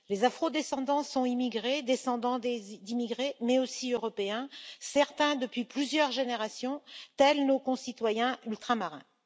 Les afro descendants sont immigrés, descendants d'immigrés mais aussi européens, certains, depuis plusieurs générations, tels nos concitoyens ultramarins.